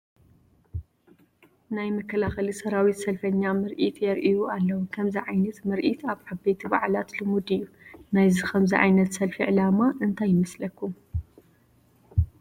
ናይ መከላኸሊ ሰራዊት ሰልፈኛ ምርኢት የርእዩ ኣለዉ፡፡ ከምዚ ዓይነት ምርኢት ኣብ ዓበይቲ በዓላት ልሙድ እዩ፡፡ ናይ ከምዚ ዓይነት ሰልፊ ዓላማ እንታይ ይመስለኩም?